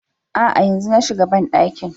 Aa, yanzu na shiga bandakin